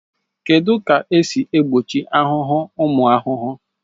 Kedu ka esi egbochi ahụhụ ụmụ ahụhụ